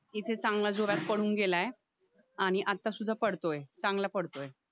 इथे चांगलं जोरात पडून गेलाय आणि आता सुद्धा पडतोय चांगला पडतोय